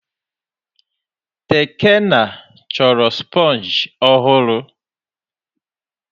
Tekena chọrọ sponge ọhụrụ.